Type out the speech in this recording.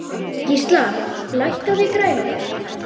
Gísla, lækkaðu í græjunum.